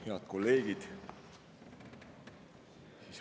Head kolleegid!